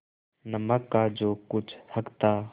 नमक का जो कुछ हक था